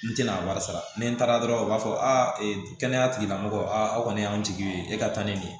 N tɛna a wari sara n taara dɔrɔn u b'a fɔ aa kɛnɛya tigilamɔgɔw a kɔni y'an jigi ye e ka taa ni nin ye